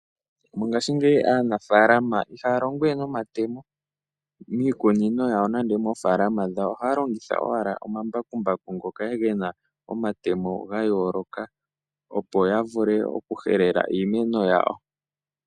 Mongaashingeyi aanafaalama ihaya longo we nomatemo miikunino yawo nenge moofalama dhawo, ohaya longitha owala omambakumbaku ngoka gena omatemo ga yooloka opo yavule oku helela iimeno yawo.